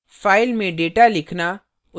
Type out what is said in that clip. file में data लिखना